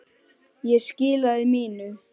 Ég skilaði mínu.